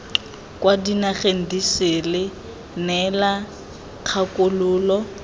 kwa dinageng disele neela kgakololo